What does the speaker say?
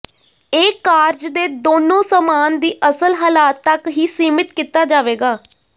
ਇਹ ਕਾਰਜ ਦੇ ਦੋਨੋ ਸਾਮਾਨ ਦੀ ਅਸਲ ਹਾਲਾਤ ਤੱਕ ਹੀ ਸੀਮਿਤ ਕੀਤਾ ਜਾਵੇਗਾ